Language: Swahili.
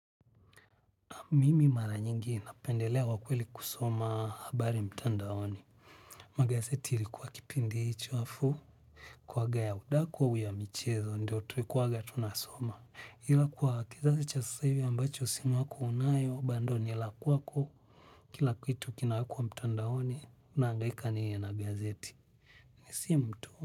Mimi mara nyingi napendelea wakweli kusoma habari mtandaoni. Magazeti ilikuwa kipindi hicho afu kuaga ya udaku au ya michezo ndio tuekuwaga tunasoma. Ila kwa kizazi cha sasa hivi ambacho simu yako unayo bando nilakwako kila kitu kina wekwa mtandaoni unaangaika nini na gazeti. Nisim tu.